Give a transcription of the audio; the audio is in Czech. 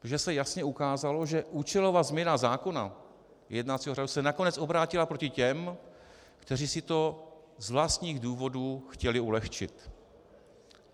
Protože se jasně ukázalo, že účelová změna zákona jednacího řádu se nakonec obrátila proti těm, kteří si to z vlastních důvodů chtěli ulehčit.